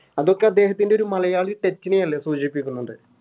അതൊക്കെ അദ്ദേഹത്തിൻറെ ഒരു മലയാളി Touch നയല്ലേ സൂചിപ്പിക്കുന്നുണ്ട്